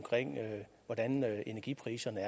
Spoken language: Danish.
energipriserne